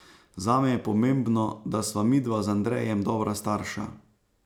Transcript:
Zame je pomembno, da sva midva z Andrejem dobra starša.